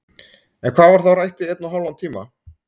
En hvað var þá rætt í einn og hálfan tíma?